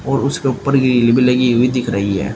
और उसके ऊपर लगी हुई दिख रही है।